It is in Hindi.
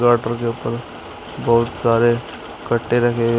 पटरों के ऊपर बहुत सारे कट्टे रखे--